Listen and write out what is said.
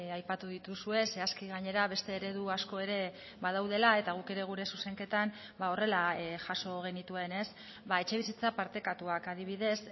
aipatu dituzue zehazki gainera beste eredu asko ere badaudela eta guk ere gure zuzenketan horrela jaso genituen etxebizitza partekatuak adibidez